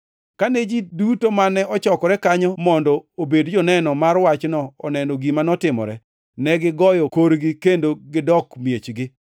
Kane ji duto mane ochokore kanyo mondo obed joneno mar wachno noneno gima notimore, negigoyo korgi kendo negidok miechgi.